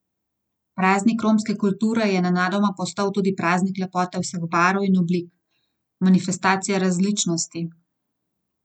Praznik romske kulture je nenadoma postal tudi praznik lepote vseh barv in oblik, manifestacija različnosti.